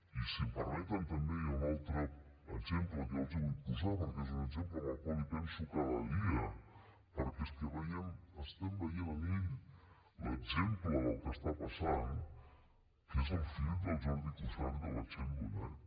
i si em permeten també hi ha un altre exemple que jo els vull posar perquè és un exemple en el qual penso cada dia perquè és que veiem estem veient en ell l’exemple del que està passant que és el fill del jordi cuixart i de la txell bonet